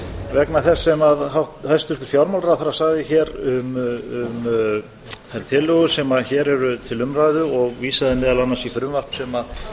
vegna þess sem hæstvirtur fjármálaráðherra sagði hér um þær tillögur sem hér eru til umræðu og vísaði meðal annars í frumvarp sem lagt hefur